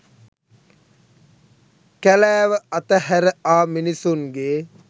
කැලෑව අතහැර ආ මිනිසුන්ගේ